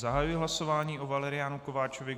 Zahajuji hlasování o Valeriánu Kováčovi.